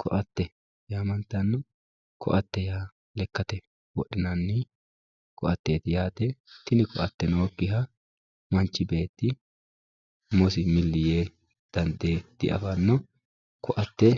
Koate yaamantanno koate yaa lekkate wodhinani koateet yaate tin koate nookiha manchi beetti umosi milli yee dandee diafanno koate